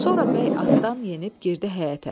Sonra bəy atdan enib girdi həyətə.